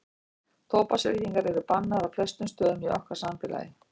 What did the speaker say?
tóbaksreykingar eru bannaðar á flestum stöðum í okkar samfélagi